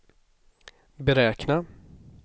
beräkna